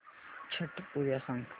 छट पूजा सांग